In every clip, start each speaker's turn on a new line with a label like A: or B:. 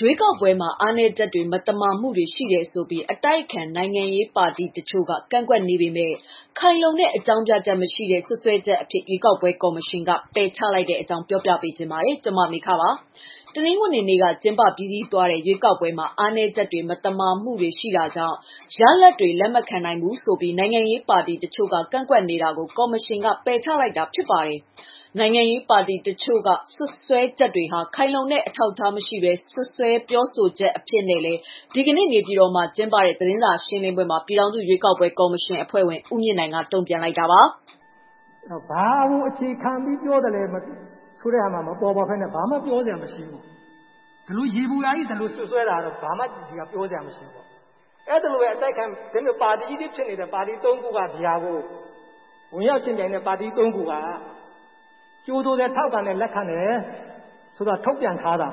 A: ရွေးကောက်ပွဲမှာ အားနည်းချက်တွေ၊ မသမာမှုတွေ ရှိတယ်ဆိုပြီး အတိုက်အခံ နိုင်ငံရေးပါတီတချို့က ကန့်ကွက်နေပေမဲ့ ခိုင်လုံတဲ့ အကြောင်းပြချက်မရှိတဲ့ စွပ်စွဲချက်အဖြစ် ရွေးကောက်ပွဲ ကော်မရှင်က ပယ်ချလိုက်တဲ့အကြောင်း ပြောပြပါမယ်။ ဗွီအိုအေမြန်မာပိုင်းသတင်းထောက် မမေခက သတင်းပေးပို့ထားပါတယ်။ တနင်္ဂနွေနေ့က ကျင်းပပြီးစီးသွားတဲ့ ရွေးကောက်ပွဲမှာ အားနည်းချက်တွေ မသမာမှုတွေ ရှိတာကြောင့် ရလဒ်တွေကို လက်မခံနိုင်ဘူးဆိုပြီး နိုင်ငံရေးပါတီတချို့က ကန့်ကွက်နေတာကို ကော်မရှင်က ပယ်ချလိုက်တာပါ။ နိုင်ငံရေး ပါတီတချို့ရဲ့ စွပ်စွဲချက်တွေဟာ ခိုင်လုံတဲ့ အထောက်အထား မရှိဘဲ ပြောဆိုချက်အဖြစ်နဲ့လည်း ဒီကနေ့ နေပြည်တော်မှာ ကျင်းပတဲ့ သတင်းစာရှင်းလင်းပွဲမှာ ပြည်ထောင်စု ရွေးကောက်ပွဲကော်မရှင် အဖွဲ့ဝင် ဦးမြင့်နိုင် က တုံ့ပြန်လိုက်ပါတယ်
B: ။ "ဘာကိုအခြေခံပြောသလဲဆိုတာ မပေါ်ပေါက်ဘဲနဲ့ ဘာမှပြောစရာမရှိဘူး။ ဒီလိုယေဘူယျ ဒီလို စွပ်စွဲတာက ဘာမှပြောစရာ မရှိဘူး။ အဲဒီလိုပဲ ဝင်ရောက်ယှဉ်ပြိုင်တဲ့ ပါတီ ၃ ခုကကြိုဆိုတယ်၊ ထောက်ခံတယ်၊ လက်ခံတယ်၊ ထုတ်ပြန်ထားတယ်။ ဒီမိုကရေစီ က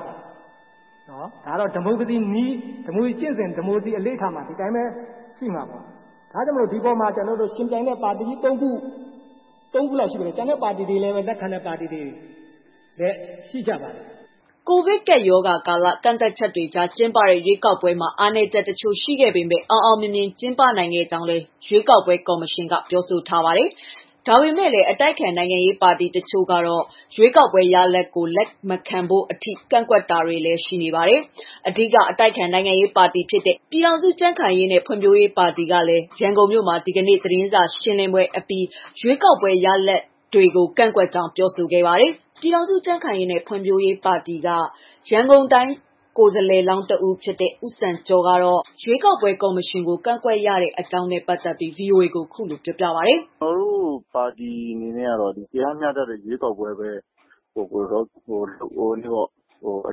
B: ျင့်စဉ်၊ အလေ့အထမှာ ဒီတိုင်းပဲ ရှိမယ်။ ယှဉ်ပြိုင်တဲ့ ပါတီကြီး ၃ ခု လောက်ရှိတယ်၊ ကျန်တဲ့ပါတီတွေလည်း လက်ခံတဲ့ ပါတီတွေလည်း ရှိကြပါတယ်။
A: " ကိုဗစ်ကပ်ရောဂါကာလ ကန့်သတ်ချက်တွေကြား ကျင်းပတဲ့ ရွေးကောက်ပွဲမှာ အားနည်းချက်တချို့ ရှိခဲ့ပေမဲ့ အောင်အောင်မြင်မြင် ကျင်းပနိုင်ခဲ့ကြောင်းလည်း ရွေးကောက်ပွဲ ကော်မရှင်က ပြောဆိုထားပါတယ်။ ဒါပေမဲ့လည်း အတိုက်အခံ နိုင်ငံရေးပါတီ တချို့ကတော့ ရွေးကောက်ပွဲရလဒ်ကို လက်မခံဖို့အထိ ကန့်ကွက်တာတွေလည်း ရှိနေပါတယ်။ အဓိက အတိုက်အခံနိုင်ငံရေးပါတီဖြစ်တဲ့ ပြည်ထောင်စုကြံ့ခိုင်ရေးနဲ့ ဖွံ့ဖြိုးရေးပါတီကလည်း ရန်ကုန်မြို့မှာ ဒီနေ့ပဲ သတင်းစာရှင်းလင်းပွဲ ကျင်းပအပြီး ရွေးကောက်ပွဲ ရလဒ်တွေကို ကန့်ကွက်ကြောင်း ပြောဆိုခဲ့ပါတယ်။ ရန်ကုန်တိုင်း ပြည်ခိုင်ဖြိုးပါတီ ကိုယ်စားလှယ် တဦးဖြစ်တဲ့ ဦးစံကျော်ကတော့ ကန့်ကွက်မှု အပေါ်ခုလိုပြောပြပါတယ်။ "ကျနော်တို့
C: ပါတီအနေနဲ့က တရားမျှတတဲ့ ရွေးကောက်ပွဲပဲ အ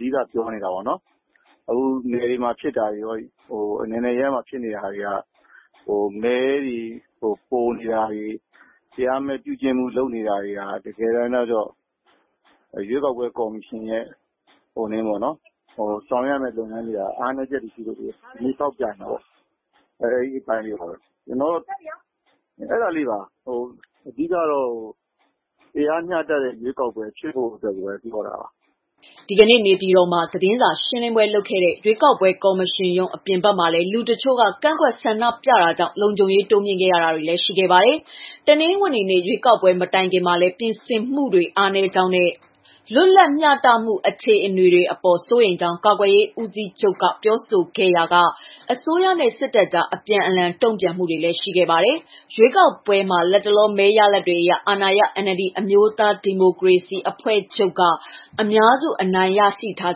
C: ဓိကပြောနေတာပေါ့နော်။ နယ်တွေနဲ့ အနယ်နယ် အရပ်ရပ်မှာ ဖြစ်နေတာတွေက မဲတွေပိုနေတာတွေ၊ တရားမဲ့ ပြုကျင့်မှုလုပ်နေတာတွေက တကယ်တမ်းတော့ ရွေးကောက်ပွဲ ကော်မရှင်ရဲ့ ဆောင်ရွက်တဲ့ လုပ်ငန်းစဉ်ပေါ် အားနည်းချက်တွေရှိတာကိုပါပဲ။ အဲဒါလေးပါ တကယ်ကတော့ တရားမျှတတဲ့ ရွေးကောက်ပွဲဖြစ်ဖို့ပြောတာပါ။
A: " ဒီကနေ့ နေပြည်တော်မှာ သတင်းစာရှင်းလင်းပွဲလုပ်ခဲ့တဲ့ ရွေးကောက်ပွဲကော်မရှင်ရုံး အပြင်ဘက်မှာလည်း လူတချို့က ကန့်ကွက်ဆန္ဒပြခဲ့ကြတာကြောင့် လုံခြုံရေးတိုးမြှင့်ခဲ့ရတာတွေလည်း ရှိခဲ့ပါတယ်။ တနင်္ဂနွေနေ့ ရွေးကောက်ပွဲ မတိုင်ခင်မှာလည်း ပြင်ဆင်မှုတွေ အားနည်းကြောင်းနဲ့ လွတ်လပ်မျှတမှု အခြေအနေတွေအပေါ် စိုးရိမ်ကြောင်း တပ်မတော်ကာကွယ်ရေးဦးစီးချုပ်က ပြောဆိုခဲ့ရာက အစိုးရနဲ့ စစ်တပ်ကြား အပြန်အလှန် တုံ့ပြန်မှုတွေလည်း ရှိခဲ့ပါတယ်။ ရွေးကောက်ပွဲမှာ လတ်တလော မဲရလဒ်တွေအရ အာဏာရ NLD အမျိုးသားဒီမိုကရေစီ အဖွဲ့ချုပ်က အများစု အနိုင်ရထား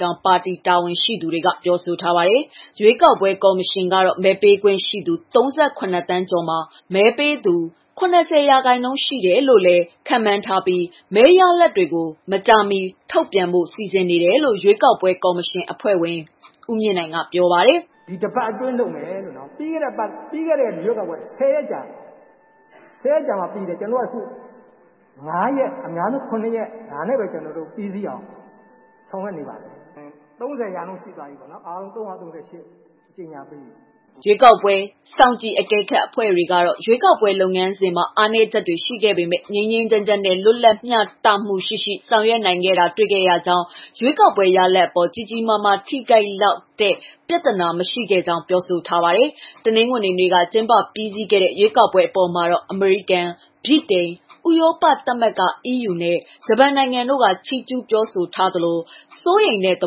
A: ကြောင်း ပါတီ တာဝန်ရှိသူတွေက ပြောဆိုထားပါတယ်။ ရွေးကောက်ပွဲ ကော်မရှင်ကတော့ မဲပေးခွင့်ရှိသူ ၃၇ သန်းကျော်မှာ မဲပေးသူ ၇၀ ရာခိုင်နှုန်းရှိတယ်လို့လည်း ခန့်မှန်းထားပြီး မဲရလဒ်တွေအားလုံးကိုလည်း မကြာမီ ထုတ်ပြန်ဖို့ စီစဉ်နေတယ်လို့ ပြည်ထောင်စု ရွေးကောက်ပွဲ ကော်မရှင် အဖွဲ့ဝင် ဦးမြင့်နိုင်က ပြောပါတယ်။ "ဒီ တပတ်အတွင်း ထုတ်ပြန်ပါမယ်
B: ။ ပြီးခဲ့တဲ့ ရွေးကောက်ပွဲက ၁၀ ရက်ကြာပါတယ်။ ၁၀ ရက်ကြာပြီးတယ်။ ကျနော်တို့က ခု ၅ ရက်၊ အများဆုံး ၇ ရက် ဒီလောက်နဲ့ ပြီးစီးအောင် ဆောင်ရွက်နေပါတယ်။ ၃၀ ရာခိုင်နှုန်းပြီးပါပြီ။ ၃၀၀ ကျော်ကြေငြာပေး ပြီးနေပါပ
A: ြီ။" ရွေးကောက်ပွဲစောင့်ကြည့် အကဲခတ်အဖွဲ့တွေကတော့ ရွေးကောက်ပွဲ လုပ်ငန်းစဉ်မှာ အားနည်းချက်တွေ ရှိခဲ့ပေမဲ့ ငြိမ်းငြိမ်းချမ်းချမ်းနဲ့ လွတ်လပ်မျှတမှုရှိရှိ ဆောင်ရွက်နိုင်ခဲ့တာ တွေ့ရကြောင်းနဲ့ ရွေးကောက်ပွဲရလဒ်အပေါ် ကြီးကြီးမားမား ထိခိုက်လောက်အောင် ပြဿနာ မရှိခဲ့ကြောင်းလည်း ပြောဆိုထားကြပါတယ်။ တနင်္ဂနွေနေ့က ကျင်းပပြီးစီးသွားတဲ့ ရွေးကောက်ပွဲ အပေါ်မှာတော့ အမေရိကန်၊ ဗြိတိန်၊ ဥရောပသမဂ္ဂ နဲ့ ဂျပန်နိုင်ငံတို့ကလည်း ချီးကျုးစကား ပြောဆိုခဲ့ကြသလို၊ စိုးရိမ်တဲ့ သ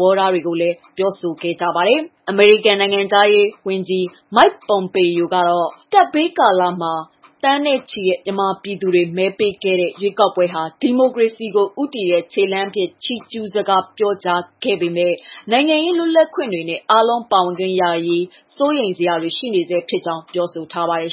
A: ဘောထားတွေကိုလည်း ပြောဆိုခဲ့ကြတာပါ။ အမေရိကန် နိုင်ငံခြားရေးဝန်ကြီး မိုက် ပွန်ပေယို ကလည်း ကပ်ရောဂါကာလမှာ သန်းနဲ့ချီတဲ့ မြန်မာပြည်သူတွေ မဲပေးခဲ့ကြတဲ့ ရွေးကောက်ပွဲဟာ ဒီမိုကရေစီကို ဦးတည်တဲ့ ခြေလှမ်းအဖြစ် ချီးကျုးစကား ပြောကြားခဲ့ပေမဲ့ နိုင်ငံရေး လွတ်လပ်ခွင့်တွေနဲ့ အားလုံးပါဝင်ခွင့်ရရေး စိုးရိမ်စရာတွေ ရှိနေဆဲဖြစ်ကြောင်းလည်း ပြောကြားထားပါတယ်